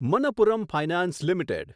Manappuram finance limited